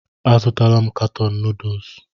A zụtala m katọn nuduls.